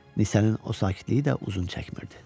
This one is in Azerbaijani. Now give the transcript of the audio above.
Nisənin o sakitliyi də uzun çəkmirdi.